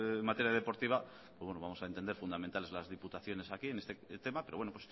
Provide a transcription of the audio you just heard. en materia deportiva pues vamos a entender fundamentales las diputaciones aquí en este tema pero bueno